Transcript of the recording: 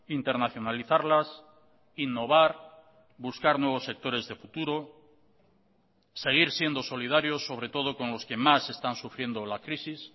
internacionalizarlas innovar buscar nuevos sectores de futuro seguir siendo solidario sobre todo con los que más están sufriendo la crisis